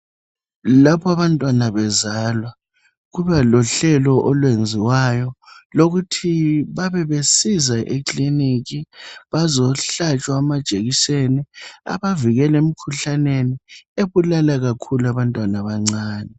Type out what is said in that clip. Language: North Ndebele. Lapha abantwana bezalwa, kuba lohlelo olwenziwayo. Lokuthi babe besiza eclinic. Bazohlatshwa amajekiseni. Abavikeli emikhuhlaneni, ebulala ikakhulu, abantwana abancane.